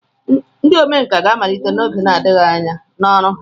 Ndị omenkà ga-amalite n'oge na-adịghị anya ọrụ ha.